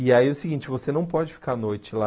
E aí é o seguinte, você não pode ficar à noite lá.